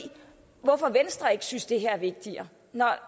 hvorfor venstre ikke synes det her er vigtigere